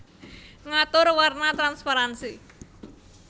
Ngatur warna transparansi